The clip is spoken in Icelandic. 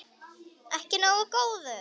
Ekki nógu góður!